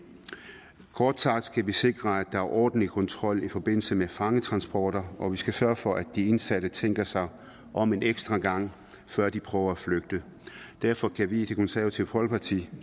kort sagt skal vi sikre at der er ordentlig kontrol i forbindelse med fangetransporter og vi skal sørge for at de indsatte tænker sig om en ekstra gang før de prøve at flygte derfor kan vi i det konservative folkeparti